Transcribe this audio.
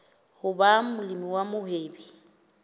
ho ba molemi wa mohwebi